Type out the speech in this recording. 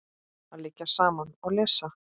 Að liggja saman og lesa.